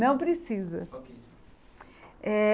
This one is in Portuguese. Não precisa eh.